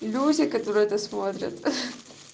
люди которые это смотрят хе